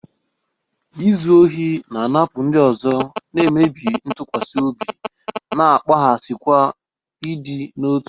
Izu ohi na-anapụ ndị ọzọ, na-emebi ntụkwasị obi, na-akpaghasịkwa ịdị n'otu.